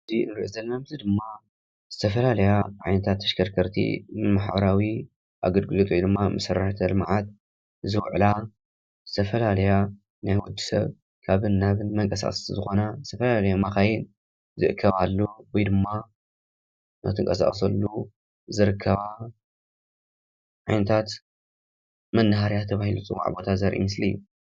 እዚ ንሪኦ ዘለና ምስሊ ድማ ዝተፈላለያ ዓይነታት ተሽከርከርቲ ንማሕበራዊ ኣገልግሎት ወይ ድማ መሰረተ ልምዓት ዝውዕላ ዝተፈላለያ ናይ ወድሰብ ካብን ናብን መንቀሳቐስቲ ዝኾና ዝተፈላለያ መኻይን ዝእከባሉ ወይ ድማ እናተንቀሳቐሳሉ ዝርከባ ዓይነታት መናሃርያ ተባሂሉ ዝፅዋዕ ቦታ ዘርኢ ምስሊ እዩ፡፡